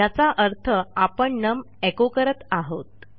याचा अर्थ आपण नम echoकरत आहोत